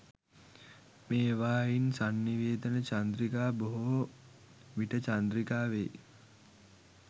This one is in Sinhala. මේවායින් සන්නිවේදන චන්ද්‍රිකා බොහෝ විටචන්ද්‍රිකා වෙයි.